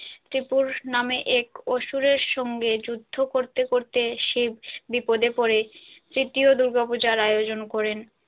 ত্রি পুরুষ নামে এক অসুরের সঙ্গে যুদ্ধ করতে করতে শিব বিপদে পড়ে তৃতীয় দূর্গাপূজার আয়োজন করেন।